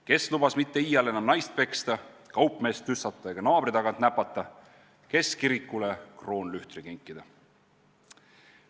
Kes lubas mitte iial enam naist peksta, kaupmeest tüssata ega naabri tagant näpata, kes kirikule kroonlühtri kinkida.